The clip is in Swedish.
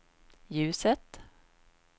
ljuset